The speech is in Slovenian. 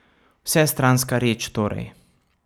Vsestranska reč torej.